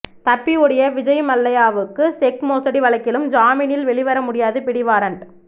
தப்பி ஓடிய விஜய்மல்லையாவுக்கு செக் மோசடி வழக்கிலும் ஜாமீனில் வெளிவர முடியாத பிடிவாரண்ட்